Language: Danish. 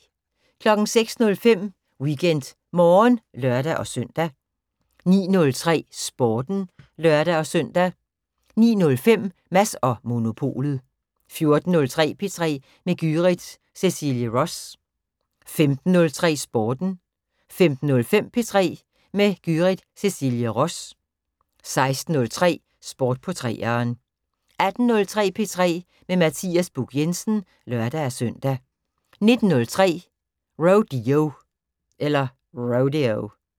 06:03: WeekendMorgen (lør-søn) 09:03: Sporten (lør-søn) 09:05: Mads & Monopolet 14:03: P3 med Gyrith Cecilie Ross 15:03: Sporten 15:05: P3 med Gyrith Cecilie Ross 16:03: Sport på 3'eren 18:03: P3 med Mathias Buch Jensen (lør-søn) 19:03: Rodeo